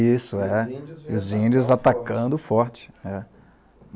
Isso, é. E os índios atacando forte.